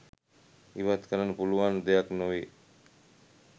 ඉවත් කරන්න පුළුවන් දෙයක් නොවේ.